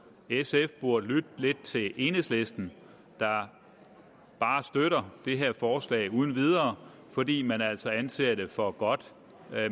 sf burde lytte lidt til enhedslisten der bare støtter det her forslag uden videre fordi man altså anser det for godt